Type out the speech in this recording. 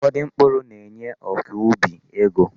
Ufodu mkpuru na-enye ọkọubi ego.